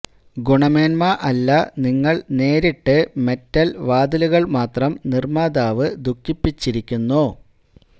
ഗുണമേന്മ അല്ല നിങ്ങൾ നേരിട്ട് മെറ്റൽ വാതിലുകൾ മാത്രം നിർമ്മാതാവ് ദുഃഖിപ്പിച്ചിരിക്കുന്നു